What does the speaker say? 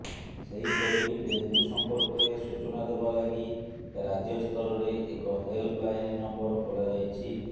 ସେହିପରି ଡେଙ୍ଗୁ ସଂପର୍କରେ ସୂଚନା ଦେବା ଲାଗି ରାଜ୍ୟସ୍ତରରେ ଏକ ହେଲ୍ପ ଲାଇନ୍ ନମ୍ୱର ଖୋଲାଯାଇଛି